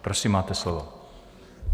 Prosím, máte slovo.